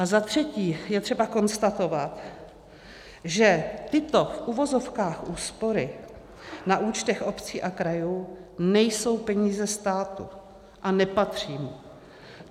A zatřetí je třeba konstatovat, že tyto v uvozovkách úspory na účtech obcí a krajů nejsou peníze státu a nepatří mu.